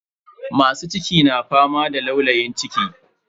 Masu ciki na fama da laulayin ciki.